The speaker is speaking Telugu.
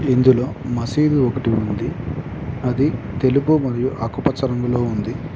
ఇందులో మసీదు ఒకటి ఉంది అది తెలుపు మరియు ఆకుపచ్చ రంగులో ఉంది.